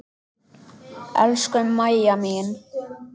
Elsku Mæja mín.